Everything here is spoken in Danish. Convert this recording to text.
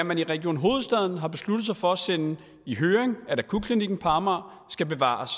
man i region hovedstaden har besluttet sig for at sende i høring at akutklinikken på amager skal bevares